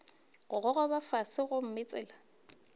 go gogoba fase gomme tsela